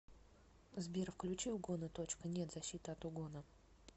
сбер включи угона точка нет защита от угона